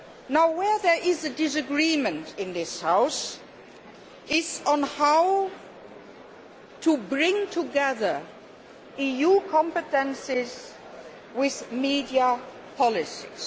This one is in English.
Now where there is a disagreement in this House is on how to bring together EU competences with media policies.